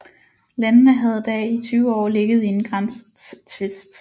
Landene havde da i 20 år ligget i en grænsetvist